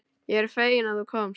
Ég er fegin að þú komst.